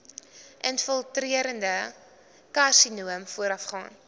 infiltrerende karsinoom voorafgaan